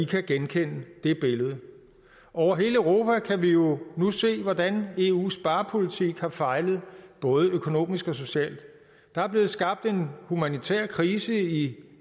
kan genkende det billede over hele europa kan vi jo nu se hvordan eus sparepolitik har fejlet både økonomisk og socialt der er blevet skabt en humanitær krise i